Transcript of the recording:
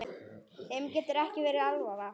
Þeim getur ekki verið alvara.